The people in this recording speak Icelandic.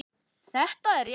Þetta er rétt.